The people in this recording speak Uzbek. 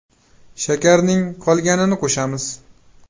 Shakarning qolganini qo‘shamiz.